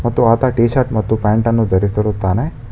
ಮತ್ತು ಆತ T shirt ಮತ್ತು ಪ್ಯಾಂಟ್ ಅನ್ನು ಧರಿಸುತ್ತಾನೆ.